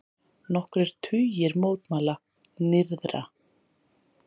Nokkrir tugir mótmæla nyrðra